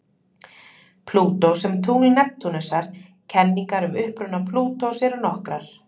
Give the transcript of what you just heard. Plútó sem tungl Neptúnusar Kenningar um uppruna Plútós eru nokkrar.